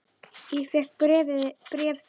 Ég fékk bréf þitt dags.